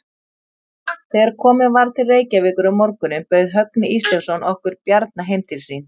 Þegar komið var til Reykjavíkur um morguninn bauð Högni Ísleifsson okkur Bjarna heim til sín.